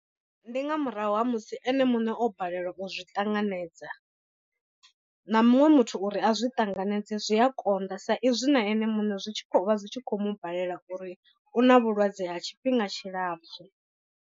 Ndi nga murahu ha musi ene muṋe o balelwa u zwi ṱanganedza, na muṅwe muthu uri a zwi tanganedze zwi a konḓa sa izwi na ene muṋe zwi tshi khou vha zwi tshi khou mu balela uri u na vhulwadze ha tshifhinga tshilapfhu.